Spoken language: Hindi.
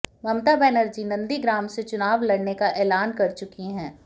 ममता बनर्जी नंदीग्राम से चुनाव लड़ने का ऐलान कर चुकी हैं